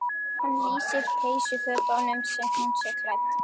Hann lýsir peysufötum sem hún sé klædd.